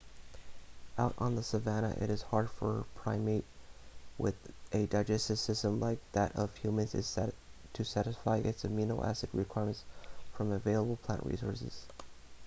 out on the savanna it is hard for a primate with a digestive system like that of humans to satisfy its amino-acid requirements from available plant resources